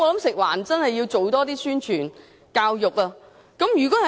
食環署必須加強宣傳和教育。